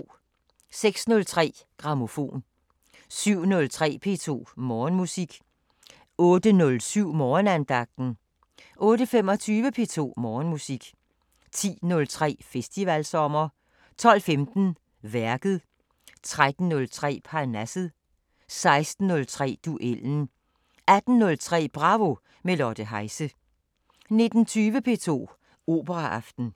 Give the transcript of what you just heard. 06:03: Grammofon 07:03: P2 Morgenmusik 08:07: Morgenandagten 08:25: P2 Morgenmusik 10:03: Festivalsommer 12:15: Værket 13:03: Parnasset 16:03: Duellen 18:03: Bravo – med Lotte Heise 19:20: P2 Operaaften